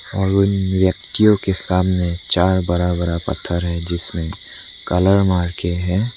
और इन व्यक्तियों के सामने चार बड़ा बड़ा पत्थर है जिसमें कलर मार के है।